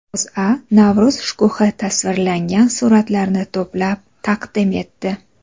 O‘zA Navro‘z shkuhi tasvirlangan suratlarni to‘plab taqdim etdi .